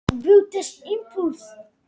Hún krafðist óskertrar orku ungra manna.